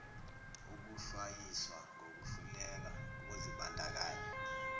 ukuhlwayiswa ngokuhluleka ukuzibandakanya